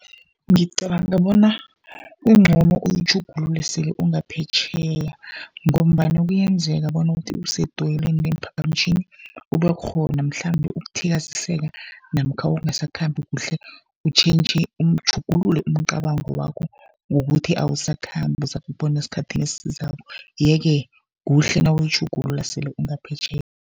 Ngicabanga bona kuncono uyitjhugulule sele ungaphetjheya, ngombana kuyenzeka bona uthi usedoyelweni leemphaphamtjhini kubekhona mhlambe ukuthikaziseka. Namkha ungasakhambi kuhle utjhintjhe, utjhugulule umcabango wakho, ngokuthi awusakhambi uzakubona esikhathini esizako. Ye-ke kuhle nawuyitjhugulula sele ungaphetjheya.